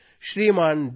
Shriman D